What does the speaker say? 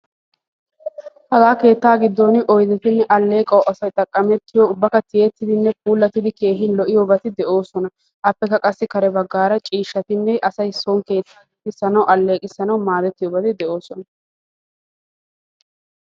keettaa gidoni dumma dumma aleeqotine oydeti beettosona.